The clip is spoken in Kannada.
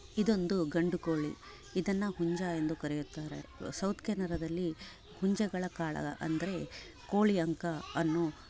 ಇದೊಂದೂ ಗಂಡು ಕೋಳಿ ಇದನ್ನ ಹುಂಜಾ ಎಂದು ಕರೆಯುತ್ತಾರೆ ಸೌತ್ ಕೆನರದಲ್ಲಿ ಹುಂಜಗಳ ಕಾಳ ಅಂದ್ರೆ ಕೋಳಿ ಅಂಕ ಅನ್ನು--